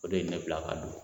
O de ye ne bila ka don.